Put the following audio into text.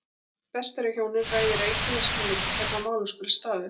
Best er að hjónin ræði rækilega sín á milli hvernig að málum skuli staðið.